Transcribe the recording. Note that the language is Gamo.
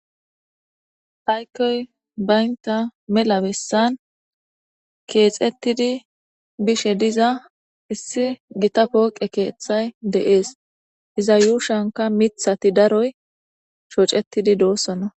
Aykoy baynta mela bessan keexettidi bishe diza issi gita pooqe keeththay de'ees iza yuushanka mithati daroy shocetidi doossona